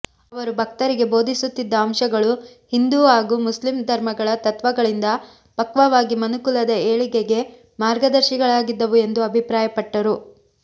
ಅವರು ಭಕ್ತರಿಗೆ ಬೋಧಿಸುತ್ತಿದ್ದ ಅಂಶಗಳು ಹಿಂದೂ ಹಾಗು ಮುಸ್ಲಿಂ ಧರ್ಮಗಳ ತತ್ವಗಳಿಂದ ಪಕ್ವವಾಗಿ ಮನುಕುಲದ ಏಳಿಗೆಗೆ ಮಾರ್ಗದರ್ಶಿಗಳಾಗಿದ್ದವು ಎಂದು ಅಭಿಪ್ರಾಯಪಟ್ಟರು